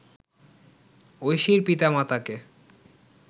ঐশীর পিতা-মাতাকে